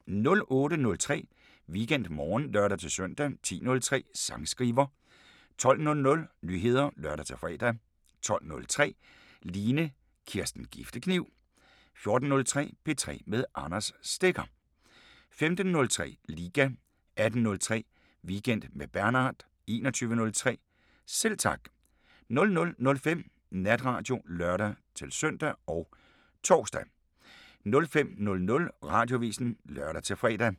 08:03: WeekendMorgen (lør-søn) 10:03: Sangskriver 12:00: Nyheder (lør-fre) 12:03: Line Kirsten Giftekniv 14:03: P3 med Anders Stegger 15:03: Liga 18:03: Weekend med Bernhard 21:03: Selv Tak 00:05: Natradio (lør-søn og tor) 05:00: Radioavisen (lør-fre)